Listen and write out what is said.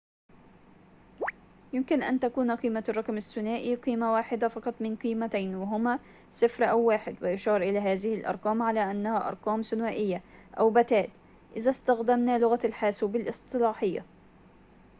يمكن أن تكون قيمة الرقم الثنائي قيمة واحدة فقط من قيمتين وهما 0 أو 1 ويُشار إلى هذه الأرقام على أنها أرقام ثنائية أو بتّات إذا استخدمنا لغة الحاسوب الاصطلاحية